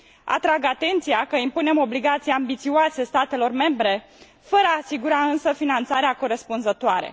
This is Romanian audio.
Atrag atenția că impunem obligații ambițioase statelor membre, fără a asigura însă finanțarea corespunzătoare.